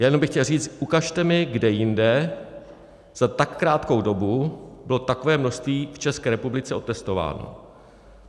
Jenom bych chtěl říct, ukažte mi, kde jinde za tak krátkou dobu bylo takové množství v České republice otestováno.